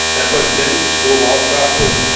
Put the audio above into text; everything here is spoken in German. Herr Präsident, Hohe Beauftragte!